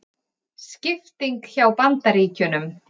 Skipting hjá Bandaríkjunum